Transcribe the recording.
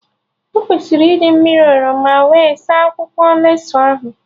E kwesịrị iji mmiri oroma nkịlịsị wee saa akwụkwọ lettusu ahụ